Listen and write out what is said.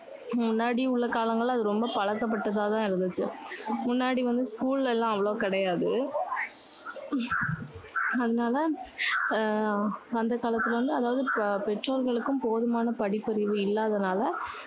முன்னாடி உள்ள காலங்களில அது ரொம்ப பழக்கபட்டதா தான் இருந்துச்சு. முன்னாடி வந்து school எல்லாம் அவ்வளவு கிடையாது. அதனால அஹ் அந்த காலத்துல வந்து அதாவது, பெற்றோர்களுக்கும் போதுமான படிப்பறிவு இல்லாததால